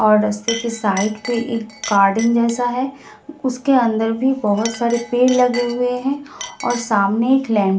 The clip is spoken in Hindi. और रास्ते के साइड पे एक गार्डन जैसा है उसके अंदर भी बहोत सारे पेड़ लगे हुए हैं और सामने एक ले --